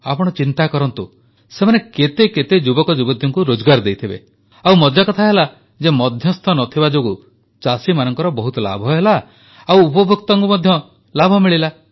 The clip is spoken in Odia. ଆପଣ ଚିନ୍ତା କରନ୍ତୁ ସେମାନେ କେତେ ଯୁବକଯୁବତୀଙ୍କୁ ରୋଜଗାର ଦେଇଥିବେ ଆଉ ମଜାକଥା ହେଲା ଯେ ମଧ୍ୟସ୍ଥ ନଥିବା ଯୋଗୁ ଚାଷୀମାନଙ୍କର ବହୁତ ଲାଭ ହେଲା ଓ ଉପଭୋକ୍ତାଙ୍କୁ ମଧ୍ୟ ଲାଭ ମିଳିଲା